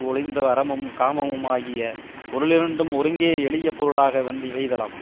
ஒழிந்த அறமும் காமமுமாகிய பொருளிரண்டும் ஒருங்கே எளியபொருளாக வந்திவெய்தலாம்